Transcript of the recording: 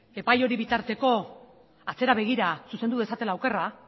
epaile hori bitarteko atzera begira zuzendu dezatela okerra